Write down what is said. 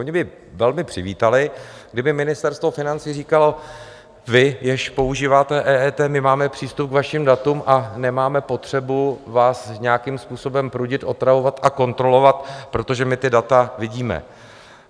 Oni by velmi přivítali, kdyby Ministerstvo financí říkalo: vy, kdo používáte EET, my máme přístup k vašim datům a nemáme potřebu vás nějakým způsobem prudit, otravovat a kontrolovat, protože my ta data vidíme.